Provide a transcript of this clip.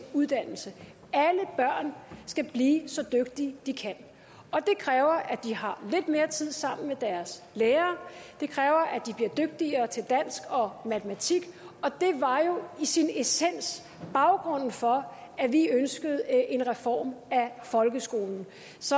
uddannelse skal blive så dygtige de kan og det kræver at de har lidt mere tid sammen med deres lærere det kræver at de bliver dygtigere til dansk og matematik og det var jo i sin essens baggrunden for at vi ønskede en reform af folkeskolen